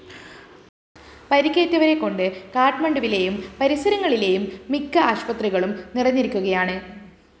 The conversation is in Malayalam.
പരിക്കേറ്റവരെക്കൊണ്ട് കാഠ്മണ്ഡുവിലെയും പരിസരങ്ങളിലെയും മിക്ക ആശുപത്രികളും നിറഞ്ഞിരിക്കുകയാണ്